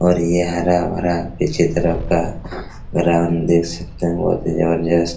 और ये हरा-भरा पीछे तरफ का ग्राउंड देख सकते है बहुत ही जबरदस्त।